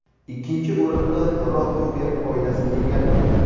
Ikkinchi o‘rinnni Rotenberg oilasi egallagan.